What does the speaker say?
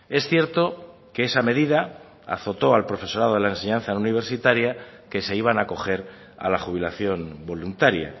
es cierto que esa medida azotó al profesorado de la enseñanza no universitaria que se iban a acoger a la jubilación voluntaria